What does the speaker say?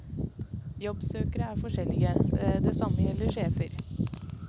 Jobbsøkere er forskjellige, det samme gjelder sjefer.